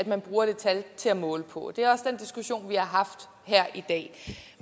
man bruger det tal til at måle på det er også den diskussion vi har haft her i dag